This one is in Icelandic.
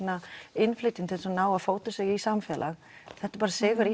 innflytjendur til þess að ná að fóta sig í samfélag þetta er sigur